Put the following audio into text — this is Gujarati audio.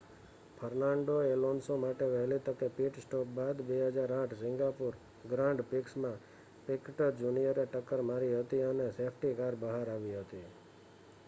ફર્નાન્ડો એલોન્સો માટે વહેલી તકે પિટ સ્ટોપ બાદ 2008 સિંગાપોર ગ્રાંડ પ્રીક્ષમાં પિકટ જુનિયરે ટક્કર મારી હતી અને સેફ્ટી કાર બહાર આવી હતી